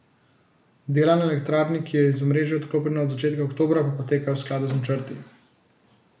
Dela na elektrarni, ki je iz omrežja odklopljena od začetka oktobra, pa potekajo v skladu z načrti.